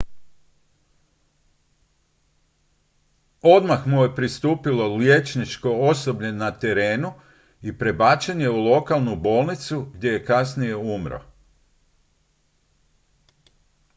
odmah mu je pristupilo liječničko osoblje na terenu i prebačen je u lokalnu bolnicu gdje je kasnije umro